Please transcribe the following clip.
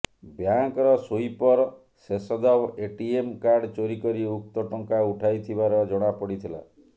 ବ୍ୟାଙ୍କର sweeper Sheshdev ATM card ଚୋରି କରି ଉକ୍ତ ଟଙ୍କା ଉଠାଇଥିବାର ଜଣାପଡିଥିଲା